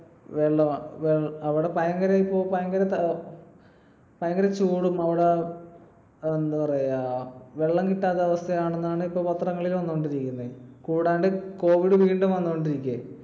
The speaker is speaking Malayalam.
വെള്ളം അവിടെ ഭയങ്കര ~ഇപ്പോ ഭയങ്കര ചൂടും, അവിടെ എന്താ പറയാ വെള്ളം കിട്ടാത്ത അവസ്ഥയാണെന്നാണ് ഇപ്പൊ പത്രങ്ങളിൽ വന്നുകൊണ്ടിരിക്കുന്നത്. കൂടാണ്ട് covid വീണ്ടും വന്നു കൊണ്ടിരിക്കുകയും.